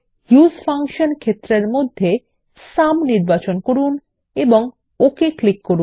use function ক্ষেত্রর মধ্যে sum নির্বাচন করুন এবং ওকে ক্লিক করুন